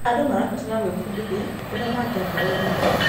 Andũ marabatara gwĩbundithia ũrĩa mangĩaka ũrũmwe.